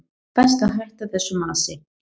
Best að hætta þessu masi.